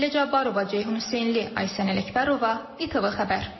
Sahilə Cabbarova, Ceyhun Hüseynli, Aysən Ələkbərova, ATV Xəbər.